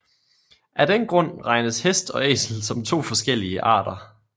Af den grund regnes hest og æsel som to forskellige arter